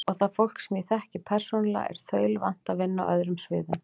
Og það fólk, sem ég þekki persónulega, er þaulvant að vinna á öðrum sviðum.